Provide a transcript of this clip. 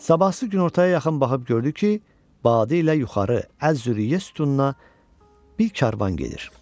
Sabahsı günortaya yaxın baxıb gördü ki, badi ilə yuxarı Əz-Züriyə sütununa bir karvan gedir.